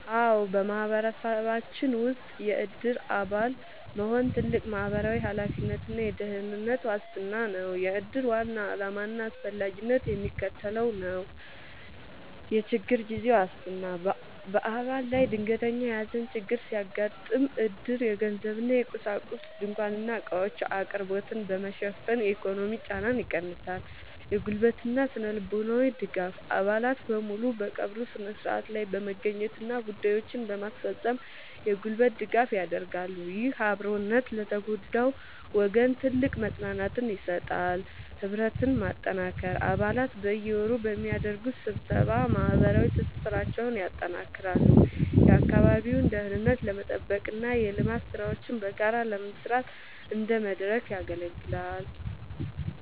አዎ፣ በማህበረሰባችን ውስጥ የዕድር አባል መሆን ትልቅ ማህበራዊ ኃላፊነትና የደህንነት ዋስትና ነው። የዕድር ዋና ዓላማና አስፈላጊነት የሚከተለው ነው፦ የችግር ጊዜ ዋስትና፦ በአባል ላይ ድንገተኛ የሐዘን ችግር ሲያጋጥም፣ ዕድር የገንዘብና የቁሳቁስ (ድንኳንና ዕቃዎች) አቅርቦትን በመሸፈን የኢኮኖሚ ጫናን ይቀንሳል። የጉልበትና ስነ-ልቦናዊ ድጋፍ፦ አባላት በሙሉ በቀብሩ ሥነ ሥርዓት ላይ በመገኘትና ጉዳዮችን በማስፈጸም የጉልበት ድጋፍ ያደርጋሉ። ይህ አብሮነት ለተጎዳው ወገን ትልቅ መጽናናትን ይሰጣል። ህብረትን ማጠናከር፦ አባላት በየወሩ በሚያደርጉት ስብሰባ ማህበራዊ ትስስራቸውን ያጠናክራሉ፤ የአካባቢውን ደህንነት ለመጠበቅና የልማት ሥራዎችን በጋራ ለመስራት እንደ መድረክ ያገለግላል።